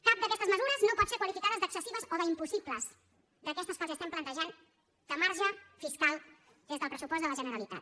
cap d’aquestes mesures no pot ser qualificada d’excessiva o d’impossible d’aquestes que els estem plantejant de marge fiscal des del pressupost de la generalitat